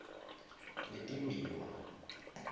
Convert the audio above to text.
letimbiwa